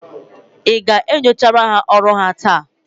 ị ga-enyocha ọrụ ha taa?